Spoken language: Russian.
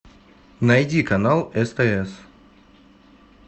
найди канал стс